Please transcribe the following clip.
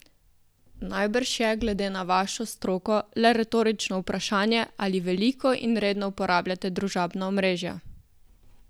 Najbrž je, glede na vašo stroko, le retorično vprašanje, ali veliko in redno uporabljate družabna omrežja?